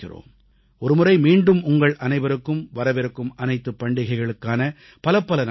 ஒருமுறை மீண்டும் உங்கள் அனைவருக்கும் வரவிருக்கும் அனைத்துப் பண்டிகைகளுக்கான பலப்பல நல்வாழ்த்துகள்